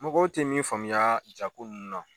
Mɔgɔw tɛ min faamuya jaa ko ninnu na.